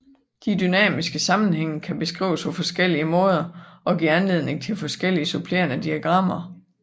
De dynamiske sammenhænge kan beskrives på forskellige måder og give anledning til forskellige supplerende diagrammer